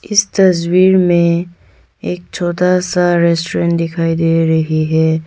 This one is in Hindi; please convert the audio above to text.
इस तस्वीर में एक छोटा सा रेस्टोरेंट दिखाई दे रही है।